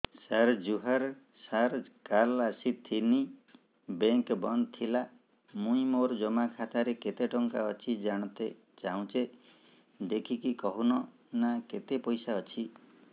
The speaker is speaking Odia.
ସାର ଜୁହାର ସାର କାଲ ଆସିଥିନି ବେଙ୍କ ବନ୍ଦ ଥିଲା ମୁଇଁ ମୋର ଜମା ଖାତାରେ କେତେ ଟଙ୍କା ଅଛି ଜାଣତେ ଚାହୁଁଛେ ଦେଖିକି କହୁନ ନା କେତ ପଇସା ଅଛି